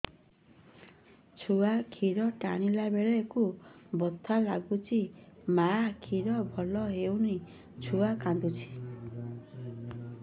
ଛୁଆ ଖିର ଟାଣିଲା ବେଳକୁ ବଥା ଲାଗୁଚି ମା ଖିର ଭଲ ହଉନି ଛୁଆ କାନ୍ଦୁଚି